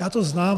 Já to znám.